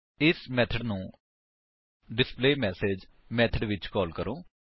ਇਸ ਮੇਥਡ ਨੂੰ display message method ਵਿੱਚ ਕਾਲ ਕਰੋ